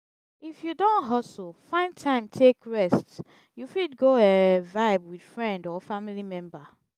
if you don hustle find time take rest you fit go um vibe with friend or family member